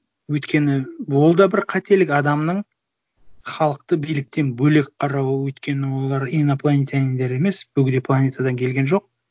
өйткені ол да бір қателік адамның халықты биліктен бөлек қарауы өйткені олар инопланетяниндер емес бөгде планетадан келген жоқ